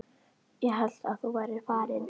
Ég hélt að þú værir farinn.